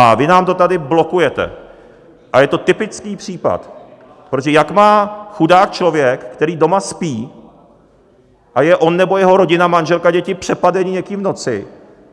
A vy nám to tady blokujete a je to typický případ, protože jak má chudák člověk, který doma spí a je on nebo jeho rodina, manželka, děti, přepadeni někým v noci,